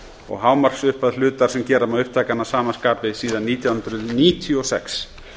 og hámarksupphæð hlutar sem gera má upptækan að sama skapi síðan nítján hundruð níutíu og sex